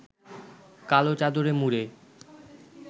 কালো চাদরে মুড়ে